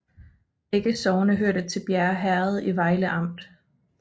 Begge sogne hørte til Bjerre Herred i Vejle Amt